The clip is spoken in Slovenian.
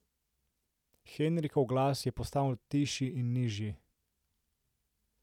Henrikov glas je postal tišji in nižji.